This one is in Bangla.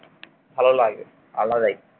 ভালো লাগে। আলাদাই